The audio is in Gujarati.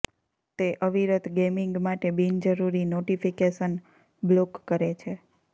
તે અવિરત ગેમિંગ માટે બીનજરૂરી નોટિફિકેશન બ્લોક કરે છે